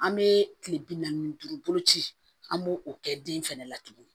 An bɛ kile bi naani ni duuru boloci an b'o kɛ den fɛnɛ la tuguni